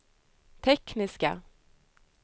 tekniska